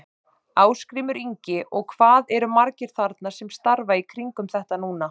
Ásgrímur Ingi: Og hvað eru margir þarna sem starfa í kringum þetta núna?